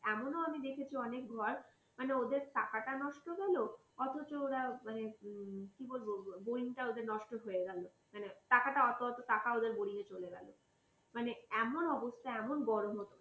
এমনও আমি দেখেছি অনেকবার মানে ওদের টাকাটা নষ্ট গেল অথচ ওরা মানে কি বলবো boring টা ওদের নষ্ট হয়ে গেল মানে টাকাটা অত টাকা ওদের boring য়ে চলে গেল মানে এমন অবস্থা এমন গরম